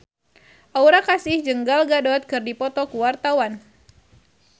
Aura Kasih jeung Gal Gadot keur dipoto ku wartawan